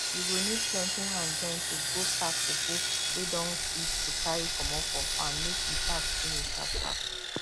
you go need plenty hand join to go pack cocoa wey don reach to carrry comot for farm make e pack finish sharp sharp